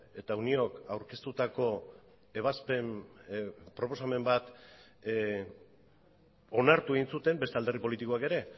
eta uniók aurkeztutako ebazpen proposamen bat onartu egin zuten beste alderdi politikoak ere